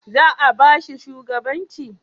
Za'a ba shi shugabancin?